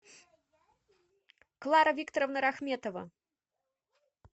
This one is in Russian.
клара викторовна рахметова